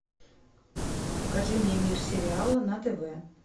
покажи мне мир сериала на тв